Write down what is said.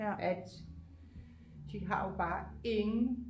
at de har jo bare ingen